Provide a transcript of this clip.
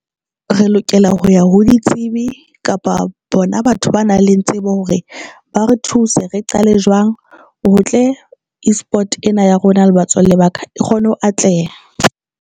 Re lokela ho ya ho ditsebi kapa bona batho ba nang le nna tsebe hore ba re thuse. Re qale jwang. O tle eSport ena ya rona le batswali ba ka e kgone ho atleha.